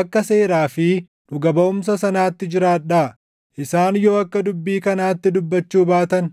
Akka seeraa fi dhuga baʼumsa sanaatti jiraadhaa! Isaan yoo akka dubbii kanaatti dubbachuu baatan